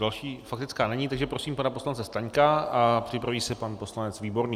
Další faktická není, takže prosím pana poslance Staňka a připraví se pan poslanec Výborný.